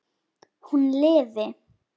Hún lifi!